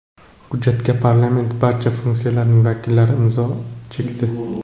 Hujjatga parlament barcha fraksiyalarining vakillari imzo chekdi.